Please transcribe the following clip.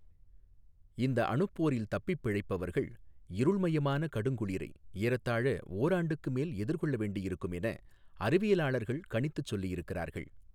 இந்த அணுப்போரில் தப்பிப் பிழைப்பவா்கள் இருள்மயமான கடுங்குளிரை ஏறத்தாழ ஓராண்டுக்கு மேல் எதிா்கொள்ள வேண்டியிருக்கும் என அறிவியலாளா்கள் கணித்துச் சொல்லி இருக்கிறாா்கள்.